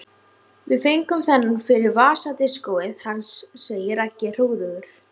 Við fengum þennan fyrir vasadiskóið hans segir Raggi hróðugur.